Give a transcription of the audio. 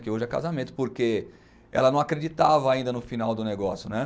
Que hoje é casamento, porque ela não acreditava ainda no final do negócio, né?